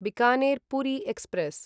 Bikaner Puri express